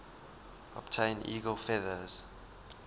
obtain eagle feathers